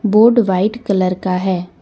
Board white colour का है।